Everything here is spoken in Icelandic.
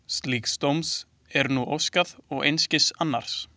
Slíks dóms er nú óskað og einskis annars.